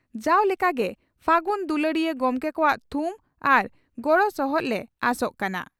ᱡᱟᱣ ᱞᱮᱠᱟᱜᱮ ᱯᱷᱟᱹᱜᱩᱱ ᱫᱩᱞᱟᱹᱲᱤᱭᱟᱹ ᱜᱚᱢᱠᱮ ᱠᱚᱣᱟᱜ ᱛᱷᱩᱢ ᱟᱨ ᱜᱚᱲᱚ ᱥᱚᱦᱚᱫ ᱞᱮ ᱟᱸᱥᱚᱜ ᱠᱟᱱᱟ ᱾